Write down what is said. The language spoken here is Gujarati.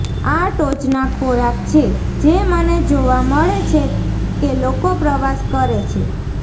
આ ટોચના ખોરાક છે જે મને જોવા મળે છે કે લોકો પ્રવાસ કરે છે